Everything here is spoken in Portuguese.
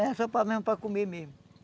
Era só mesmo para mesmo para comer mesmo.